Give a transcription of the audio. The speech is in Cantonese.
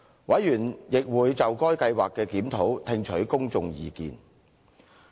委員亦會就該計劃的檢討聽取公眾意見。